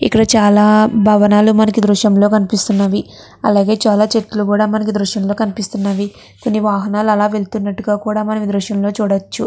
ఇక్కడ చాలా భవనాలు మనకు దృశంలో కనిపిస్తున్నవి. అలాగే చాలా చెట్లు కూడా మనకు దృశ్యం లో కనిపిస్తున్నవి. కొన్ని వాహనాలు అలా వెళ్తున్నట్టుగా కూడా మనం ఈ దృశ్యంలో చూడొచ్చు.